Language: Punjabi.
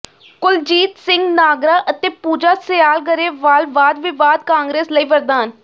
ਕੁਲਜੀਤ ਸਿੰਘ ਨਾਗਰਾ ਅਤੇ ਪੂਜਾ ਸਿਆਲ ਗਰੇਵਾਲ ਵਾਦਵਿਵਾਦ ਕਾਂਗਰਸ ਲਈ ਵਰਦਾਨ